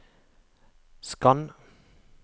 skann